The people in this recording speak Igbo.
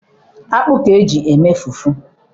akpu ka eji eme fufu